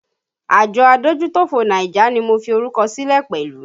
Àjọ adójútòfò Niger ni mo fi orúkọ sílẹ̀ pẹ̀lú